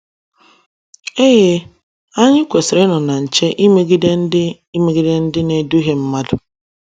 Eee, anyi kwesiri inọ na nche imegide ndi imegide ndi na edughe madụ